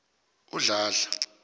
udladla